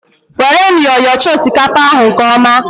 Were myọ yọchaa osikapa ahụ nke ọma!